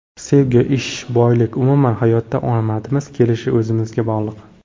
Sevgi, ish, boylik, umuman hayotda omadimiz kelishi o‘zimizga bog‘liq.